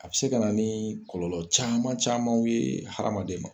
A bɛ se ka na ni kɔlɔlɔ caman camanw ye hadamaden ma